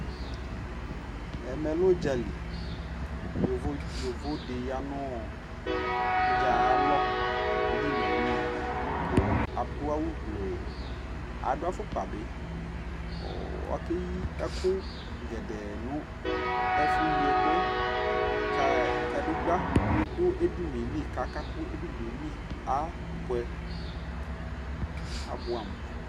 Ɛmɛ lɛ udza li Yovo di ya nu ɔɔ udza yɛ alɔ nɛ dini yɛ anu adu awu gblooAdu afukpa biƆkɛ yi ɛku gɛdɛɛ nu ɛfu yi ɛku yɛ Kadegba bi du ɛdi ni yɛ li kaka ku ɛdini yɛ liAbue, abue amu